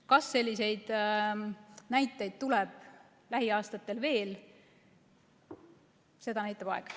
Kas selliseid näiteid tuleb lähiaastatel veel, seda näitab aeg.